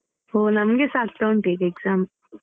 ಹೋ ನಮಿಗೆ ಸಾ ಆಗ್ತಾ ಉಂಟು ಈಗ exam .